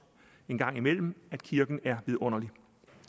engang imellem at kirken er vidunderlig